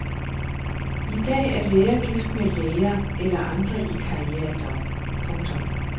I dag er læger gift med læger eller andre i karrierejob. punktum